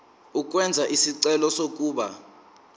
ukwenza isicelo sokuba